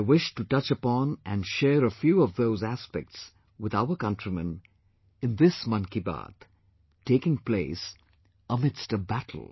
I wish to touch upon and share a few of those aspects with our countrymen in this 'Mann ki Baat', taking place amidst a battle